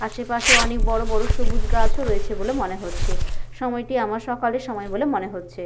আশেপাশে অনেক বড় বড় সবুজ গাছ ও রয়েছে বলে মনে হচ্ছে । সময়টি আমার সকালের সময় বলে মনে হচ্ছে।